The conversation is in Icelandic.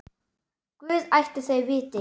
Guð ætli þau viti.